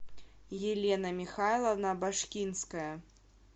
елена михайловна башкинская